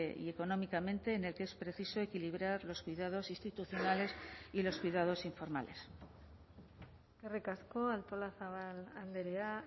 y económicamente en el que es preciso equilibrar los cuidados institucionales y los cuidados informales eskerrik asko artolazabal andrea